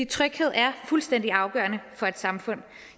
tryghed er fuldstændig afgørende for et samfund